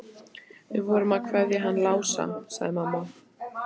Við vorum að kveðja hann Lása, sagði mamma.